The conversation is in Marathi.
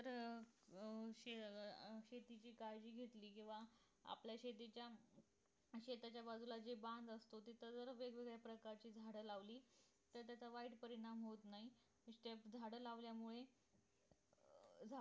शेत अं शेतीची काळजी घेतली किंवा आपल्या शेतीच्या शेताच्या बाजूला जे बांध असत तिथं जर वेगवेगळ्या प्रकारचे झाड लावली तर त्याचा वाईट परिणाम होत नाही मग ते झाड लावल्यामुळे झाड